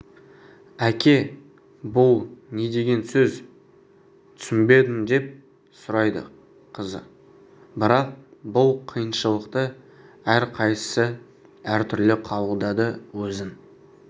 әке бұл не деген сөз түсінбедім деп сұрайды қызы бірақ бұл қиыншылықты әрқайсысы әртүрлі қабылдады өзін